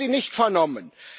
Ich habe sie nicht vernommen.